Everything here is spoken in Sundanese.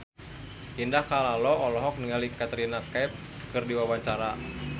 Indah Kalalo olohok ningali Katrina Kaif keur diwawancara